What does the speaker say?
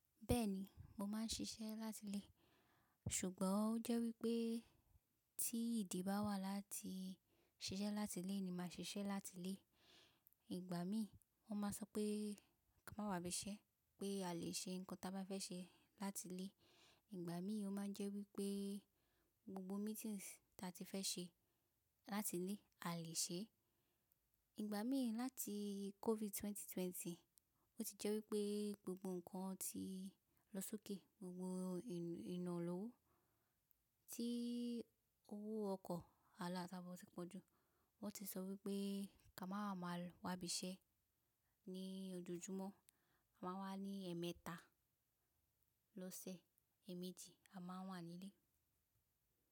Bẹ́ẹ̀ni, mo máà ń ṣiṣẹ́ láti ilé. Ṣùgbọ́n ó jẹ́ wípé tí ìdí bá wà láti ṣiṣẹ́ láti ilé ni mà a ṣe iṣẹ́ láti ilé. Ìgbà mí wọ́n máa sọ pé ká má wa àbí ìṣẹ́ pé a lè ṣe nǹkan tí a bá fẹ́ ṣe láti ilé. Ìgbà mí ó máa ń jẹ́ wípé gbogbo meetings tí a ti fẹ́ ṣe láti ilé a lè ṣe é. Ìgbà mí láti COVID ẹgbẹ̀rún méjì ó lé ogún, ó ti jẹ́ wípé gbogbo ǹkan ti lọ sókè, gbogbo inù- ìná lọ́wọ́, tí owó ọkọ̀ aláta bọ́ ti pọ̀ jú. Wọ́n ti sọ wípé ká máa máa wá bí iṣẹ́ ní ojoojúmọ́. A máa wá ní ẹ̀ẹ̀mẹta lọ́sẹ̀, èèmejì a máa wà ní ilé.